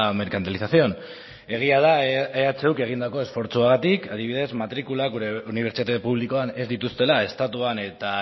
mercantilización egia da ehuk egindako esfortzuagatik adibidez matrikula gure unibertsitate publikoan ez dituztela estatuan eta